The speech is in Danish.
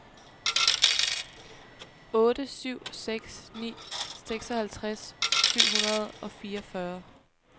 otte syv seks ni seksoghalvtreds syv hundrede og fireogfyrre